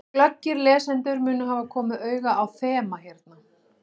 Glöggir lesendur munu hafa komið auga á þema hérna.